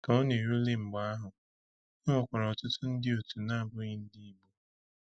Ka ọ na-erule mgbe ahụ, e nwekwara ọtụtụ ndị otu na-abụghị ndị Igbo.